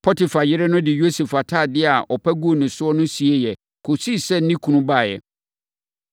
Potifar yere no de Yosef atadeɛ a ɔpa guu ne so no sieeɛ, kɔsii sɛ ne kunu baeɛ.